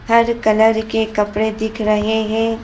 हर colour के कपड़े दिख रहे हैं।